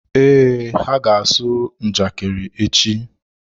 Ee, ha ga-asụ njakịrị echi.